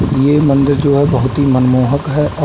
ये मंदिर जो है बहोत ही मनमोहक है और --